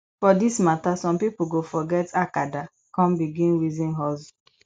for dis mata som pikin go forget acada kon begin reason hustle